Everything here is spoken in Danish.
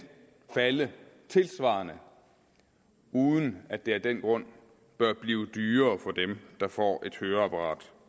falde tilsvarende uden at det af den grund bør blive dyrere for dem der får et høreapparat